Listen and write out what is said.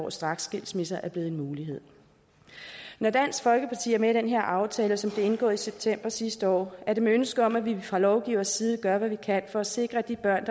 at straksskilsmisse er blevet en mulighed når dansk folkeparti er med i den her aftale som blev indgået i september sidste år er det med ønsket om at vi fra lovgivers side gør hvad vi kan for at sikre at de børn